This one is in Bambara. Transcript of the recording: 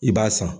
I b'a san